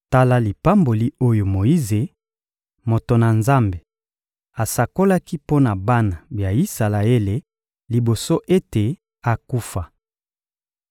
Tala lipamboli oyo Moyize, moto na Nzambe, asakolaki mpo na bana ya Isalaele liboso ete akufa.